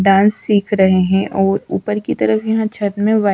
dance सीख रहे हैं और ऊपर की तरफ यहां छत में व्हाइ--